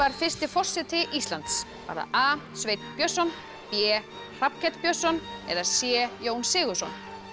fyrsti forseti Íslands var það a Sveinn Björnsson b Hrafnkell Björnsson eða c Jón Sigurðsson